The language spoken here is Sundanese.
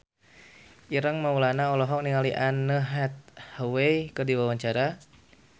Ireng Maulana olohok ningali Anne Hathaway keur diwawancara